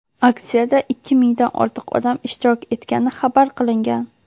Aksiyada ikki mingdan ortiq odam ishtirok etgani xabar qilingan.